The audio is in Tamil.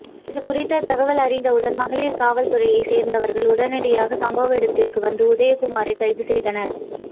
இதுகுறித்த தகவல் அறிந்தவுடன் மகளிர் காவல்துறையை சேர்ந்தவர்கள் உடனடியாக சம்பவ இடத்திற்கு வந்து உதயகுமாரை கைது செய்தனர்